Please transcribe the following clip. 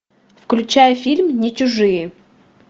включай фильм не чужие